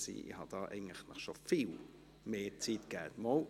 Ich habe Ihnen eigentlich schon mehr Zeit gegeben.